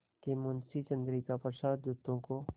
कि मुंशी चंद्रिका प्रसाद जूतों को